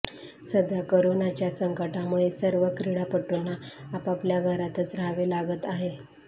सध्या करोनाच्या संकटामुळे सर्व क्रीडापटूंना आपापल्या घरातच राहावे लागत आहे